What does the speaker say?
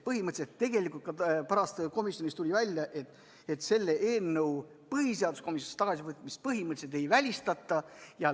Põhimõtteliselt tuli tegelikult ka pärast komisjonis välja, et selle eelnõu põhiseaduskomisjonis tagasivõtmist põhimõtteliselt ei välistata.